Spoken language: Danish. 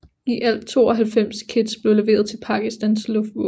I alt 92 kits blev leveret til Pakistans Luftvåben